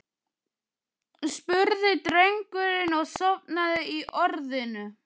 spurði drengurinn og sofnaði í orðinu.